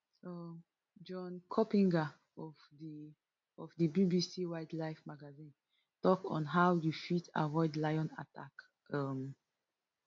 um john coppinger of di of di bbc wildlife magazine tok on how you fit avoid lion attack um